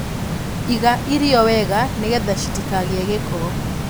Iga irio wega nĩgetha citikagĩe gĩko.